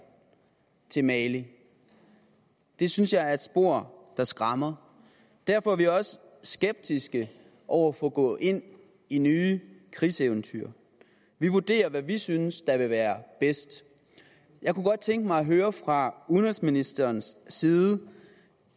til mali det synes jeg er et spor der skræmmer derfor er vi også skeptiske over for at gå ind i nye krigseventyr vi vurderer hvad vi synes vil være bedst jeg kunne godt tænke mig at høre fra udenrigsministerens side